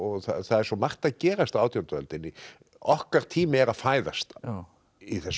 það er svo margt að gerast á átjándu öldinni okkar tími er að fæðast í þessum